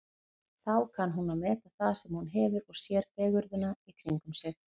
Þá kann hún að meta það sem hún hefur og sér fegurðina í kringum sig.